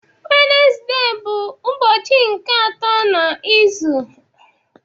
Wenezde bụ ụbọchị nke atọ n'izu